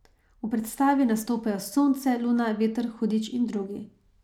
V predstavi nastopajo sonce, luna, veter, hudič in drugi.